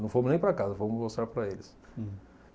Não fomos nem para casa, fomos mostrar para eles.